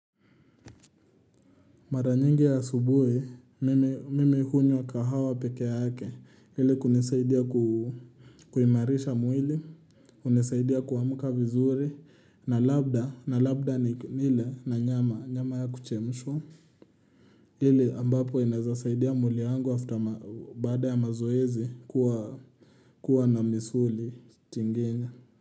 Mara nyingi ya asubuhi mimi hunywa kahawa peke yake, ili kunisaidia kuimarisha mwili, hunisaidia kuamka vizuri, na labda, na labda nile na nyama, nyama ya kuchemshwa. Ile ambapo inawezasaidia mwili wangu baada ya mazoezi kuwa na misuli tinginya.